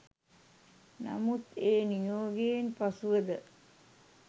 නමුත් ඒ නියෝගයෙන් පසුවද